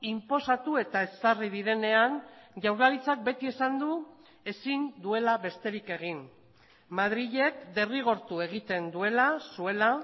inposatu eta ezarri direnean jaurlaritzak beti esan du ezin duela besterik egin madrilek derrigortu egiten duela zuela